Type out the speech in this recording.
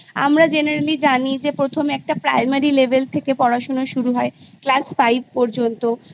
আমরা Generally জানি যে প্রথম একটা Primary Level থেকে পড়াশুনো শুরু হয় Class Five পর্যন্ত